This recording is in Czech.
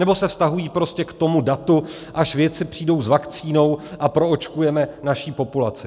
Nebo se vztahují prostě k tomu datu, až vědci přijdou s vakcínou a proočkujeme naši populaci?